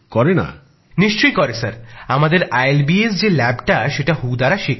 আমাদের institute of liver and biliary sciences যে ল্যাবটা সেটা বিশ্ব স্বাস্থ্য সংস্থার স্বীকৃত